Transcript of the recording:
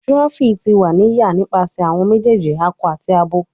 Tiroffi ti wa ni ya nipasẹ awọn mejeeji akọ ati abo